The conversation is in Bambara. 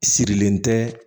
Sirilen tɛ